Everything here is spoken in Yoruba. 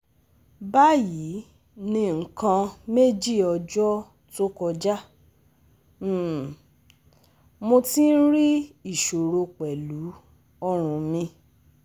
Bayii ni nnkan meji ọjọ́ to kọjá, um mo ti n ri iṣoro pẹlu ọrun mi